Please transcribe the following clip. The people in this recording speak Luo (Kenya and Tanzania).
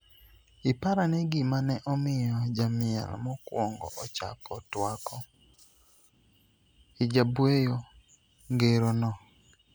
iparane gima ne omiyo jamiel mokuongo ochako twako hijab'weyo ngero no'